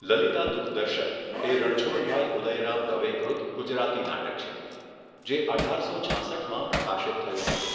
લલિતા દુઃખદર્શક એ રણછોડભાઈ ઉદયરામ દવે કૃત ગુજરાતી નાટક છે જે અઢારસો છાસઠમાં પ્રકાશિત થયું હતું.